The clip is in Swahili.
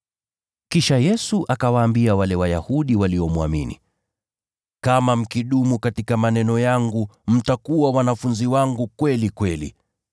Kisha Yesu akawaambia wale Wayahudi waliomwamini, “Kama mkidumu katika maneno yangu, mtakuwa wanafunzi wangu kweli kweli.